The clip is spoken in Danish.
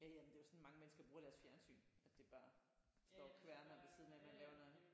Ja ja men det er jo sådan mange mennesker bruger deres fjernsyn at det bare står og kværner ved siden af man laver noget andet